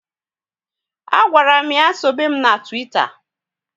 A gwara m ya sobe mụ na Twitter